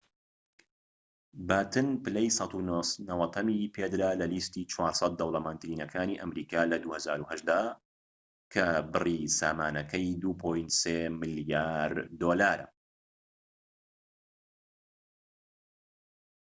باتن پلەی ١٩٠هەمی پێدرا لە لیستی ٤٠٠ دەوڵەمەندترینەکانی ئەمریکا لە ٢٠٠٨ دا کە بری سامانەکەی ٢.٣ ملیار دۆلارە